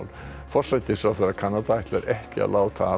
forsætisráðherra Kanada ætlar ekki að láta af